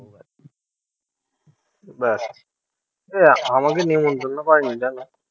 ব্যাস, এই আমাকে নেমন্তন্ন করেনি জানো?